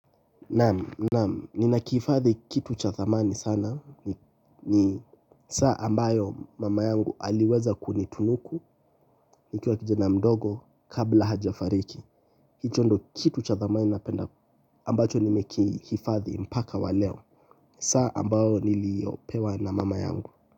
Naam, naam, ninakihifadhi kitu cha thamani sana. Ni saa ambayo mama yangu aliweza kunitunuku nikiwa kijana mdogo, kabla hajafariki. Hicho ndo kitu cha dhamani napenda ambacho nimekihifadhi mpaka waleo. Saa ambao niliyopewa na mama yangu.